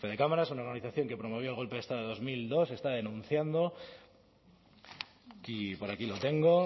fedecámaras una organización que promovió el golpe de estado de dos mil dos está denunciando y por aquí lo tengo